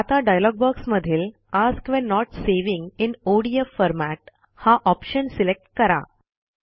आता डॉयलॉग बॉक्समधील ask when not saving in ODF format हा ऑप्शन सिलेक्ट करा